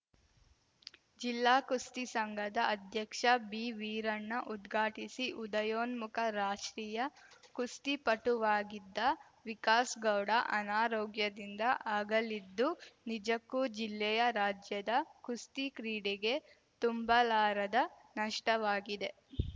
ಜಿಲ್ಲಾ ಕುಸ್ತಿ ಸಂಘದ ಅಧ್ಯಕ್ಷ ಬಿವೀರಣ್ಣ ಉದ್ಘಾಟಿಸಿ ಉದಯೋನ್ಮುಖ ರಾಷ್ಟ್ರೀಯ ಕುಸ್ತಿಪಟುವಾಗಿದ್ದ ವಿಕಾಸ್ ಗೌಡ ಅನಾರೋಗ್ಯದಿಂದ ಅಗಲಿದ್ದು ನಿಜಕ್ಕೂ ಜಿಲ್ಲೆಯ ರಾಜ್ಯದ ಕುಸ್ತಿ ಕ್ರೀಡೆಗೆ ತುಂಬಲಾರದ ನಷ್ಟವಾಗಿದೆ